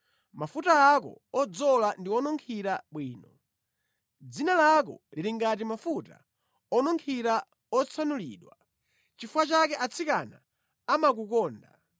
Mafuta ako odzola ndi onunkhira bwino; dzina lako lili ngati mafuta onunkhira otsanulidwa. Nʼchifukwa chake atsikana amakukonda!